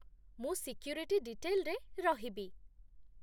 ମୁଁ ସିକ୍ୟୁରିଟି ଡିଟେଲ୍‌ରେ ରହିବି ।